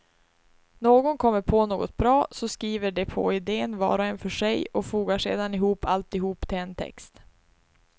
Någon kommer på något bra, så skriver de på idén var och en för sig och fogar sedan ihop alltihop till en text.